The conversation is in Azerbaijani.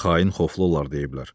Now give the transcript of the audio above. Xain xoflu olar deyiblər.